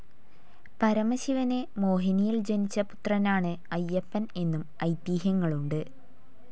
പരമശിവന് മോഹിനിയിൽ ജനിച്ച പുത്രനാണ് അയ്യപ്പൻ എന്നും ഐതിഹ്യങ്ങളുണ്ട്.